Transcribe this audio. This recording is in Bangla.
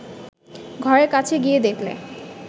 ঘরের কাছে গিয়ে দেখলে